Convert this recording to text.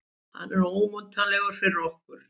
Hann er ómetanlegur fyrir okkur.